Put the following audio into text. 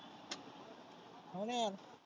हाव ना यार.